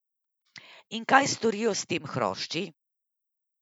In kaj storijo s temi hrošči?